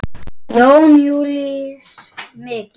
Jón Júlíus: Mikið?